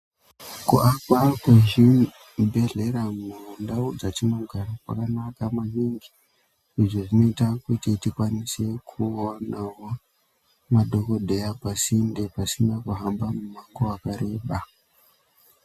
Kuwakwa kwezvibhedhlera mundau dzatinogara kwakanaka maningi izvo zvinoita kuti tikwanise kuwanawo madhokodheya pasinde pasina kuhamba mumango wakareba.